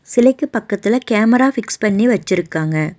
சிலைக்கு பக்கத்துல camera fix பண்ணி வெச்சிருக்காங்க.